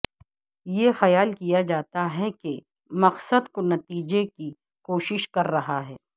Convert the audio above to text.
یہ خیال کیا جاتا ہے کہ مقصد کو نتیجہ کی کوشش کر رہا ہے